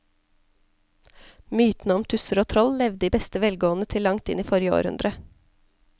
Mytene om tusser og troll levde i beste velgående til langt inn i forrige århundre.